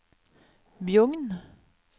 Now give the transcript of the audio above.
Bjugn